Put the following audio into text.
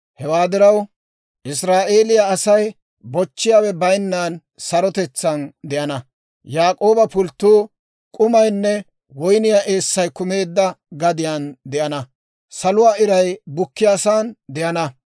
Hewaa diraw, Israa'eeliyaa asay, bochchiyaawe bayinnan sarotetsaan de'ana; Yaak'ooba pulttuu k'umaynne woyniyaa eessay kumeedda gadiyaan de'ana, saluwaa iray bukkiyaasan de'ana.